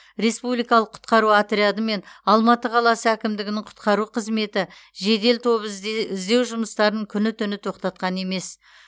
республикалық құтқару отряды мен алматы қаласы әкімдігінің құтқару қызметі жедел тобы ізде іздеу жұмыстарын күні түні тоқтатқан емес